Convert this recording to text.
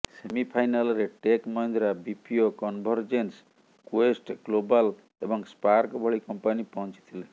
ସେମିଫାଇନାଲରେ Tech Mahindra BPO Convergence Quest Global ଏବଂ Spark ଭଳି କମ୍ପାନୀ ପହଞ୍ଚିଥିଲେ